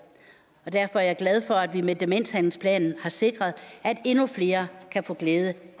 derfor er jeg glad for at vi med demenshandlingsplanen har sikret at endnu flere kan få glæde